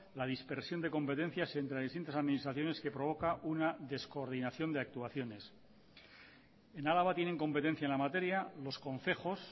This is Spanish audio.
la dispersión de competencias entre distintas administraciones que provoca una descoordinación de actuaciones en araba tienen competencia en la materia los concejos